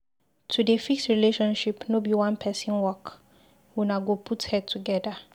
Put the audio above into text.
To dey fix relationship no be one pesin work, una go put head togeda.